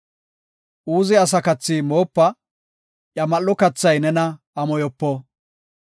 Uuze asa kathi moopa; iya mal7o kathay nena amoyopo.